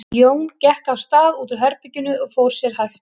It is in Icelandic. Jón gekk af stað út úr herberginu og fór sér hægt.